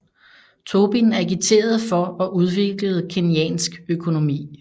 Tobin agiterede for og udviklede keynesiansk økonomi